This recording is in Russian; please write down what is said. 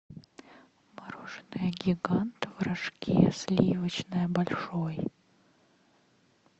мороженое гигант в рожке сливочное большой